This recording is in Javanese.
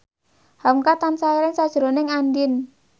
hamka tansah eling sakjroning Andien